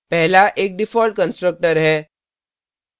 पहला एक default constructor है